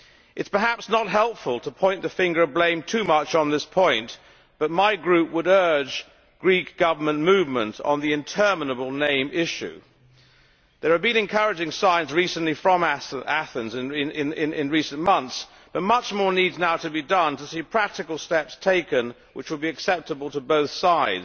It is perhaps not helpful to point the finger of blame too much on this point, but my group would urge Greek Government movement on the interminable name issue. There have been encouraging signs from Athens in recent months, but much more needs now to be done to see practical steps taken which will be acceptable to both sides.